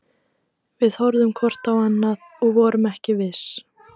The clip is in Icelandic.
Við horfðum hvort á annað- og vorum ekki viss.